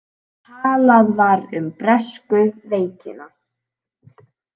Talað var um bresku veikina.